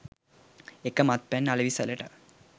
ඒක මත්පැන් අලෙවිසලට.